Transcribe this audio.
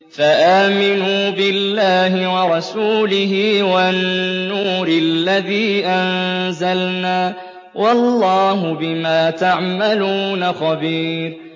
فَآمِنُوا بِاللَّهِ وَرَسُولِهِ وَالنُّورِ الَّذِي أَنزَلْنَا ۚ وَاللَّهُ بِمَا تَعْمَلُونَ خَبِيرٌ